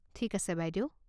ঠিক আছে বাইদেউ।